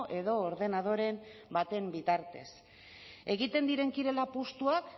edo ordenadore baten bitartez egiten diren kirol apustuak